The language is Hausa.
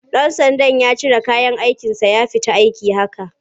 Ɗan sandan ya cire kayan aikinsa ya fita aiki haka.